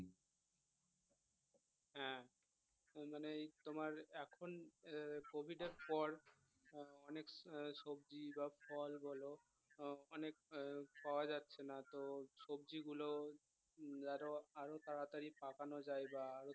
মানে তোমার এখন আহ কোভিডের পর আহ অনেক সবজি বা ফল বল অনেক আহ পাওয়া যাচ্ছে না তো সবজিগুলোও উম আরও আরও তাড়াতাড়ি পাকানো যায় বা